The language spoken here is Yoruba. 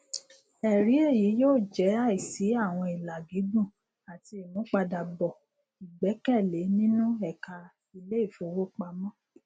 ẹrí eyi yóò jẹ àìsí àwọn ìlà gígùn àti ìmúpadàbọ ìgbẹkẹlé nínú ẹka iléìfowópamọ